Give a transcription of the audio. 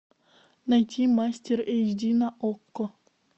найти мастер эйч ди на окко